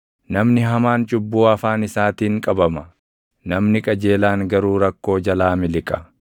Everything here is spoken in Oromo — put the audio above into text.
Namni hamaan cubbuu afaan isaatiin qabama; namni qajeelaan garuu rakkoo jalaa miliqa.